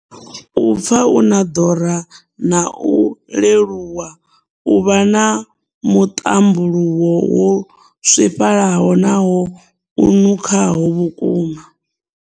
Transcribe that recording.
U pfa u na ḓora na u leluwa. U vha na muṱambuluwo wo swifhalaho nahone u nukhaho vhukuma.